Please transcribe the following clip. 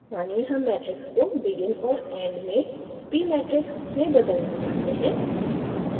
मानिए हम matrix को begin और end में pmatrix में बदलना चाहते हैं